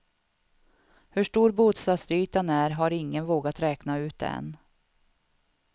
Hur stor bostadsytan är har ingen vågat räkna ut än.